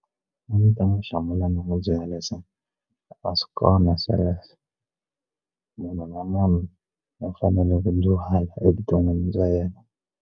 A ndzi ta n'wi hlamula ni n'wi byela leswa a swi kona sweleswo munhu na munhu u fanele ku evuton'wini bya yena.